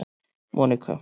Monika